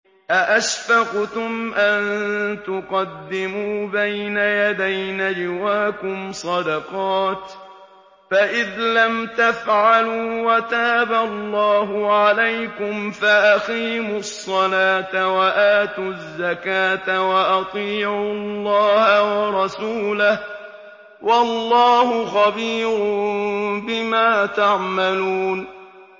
أَأَشْفَقْتُمْ أَن تُقَدِّمُوا بَيْنَ يَدَيْ نَجْوَاكُمْ صَدَقَاتٍ ۚ فَإِذْ لَمْ تَفْعَلُوا وَتَابَ اللَّهُ عَلَيْكُمْ فَأَقِيمُوا الصَّلَاةَ وَآتُوا الزَّكَاةَ وَأَطِيعُوا اللَّهَ وَرَسُولَهُ ۚ وَاللَّهُ خَبِيرٌ بِمَا تَعْمَلُونَ